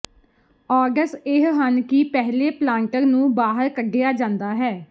odds ਇਹ ਹਨ ਕਿ ਪਹਿਲੇ ਪਲਾਂਟਰ ਨੂੰ ਬਾਹਰ ਕੱਢਿਆ ਜਾਂਦਾ ਹੈ